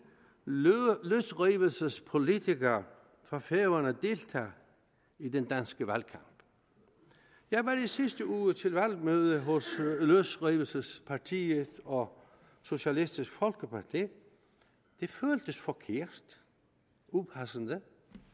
løsrivelsespolitiker fra færøerne deltager i den danske valgkamp jeg var i sidste uge til valgmøde hos løsrivelsespartiet og socialistisk folkeparti det føltes forkert og upassende